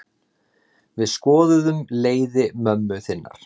Við skoðuðum leiði mömmu þinnar.